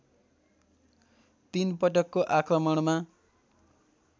तीन पटकको आक्रमणमा